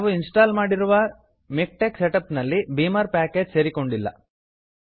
ನಾವು ಇನ್ಸ್ಟಾಲ್ ಮಾಡಿರುವ MiKTeX setup ನಲ್ಲಿ ಬೀಮರ್ ಪ್ಯಾಕೇಜ್ ಸೇರಿಕೊಂಡಿಲ್ಲ